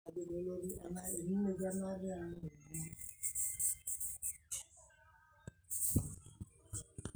ore tenekurokini aitobiraki ndaiki nauni naa kebulun asioki o tesapuko